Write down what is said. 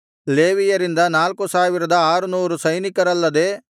ಲೇವಿಯರಿಂದ ನಾಲ್ಕು ಸಾವಿರದ ಆರುನೂರು ಸೈನಿಕರಲ್ಲದೆ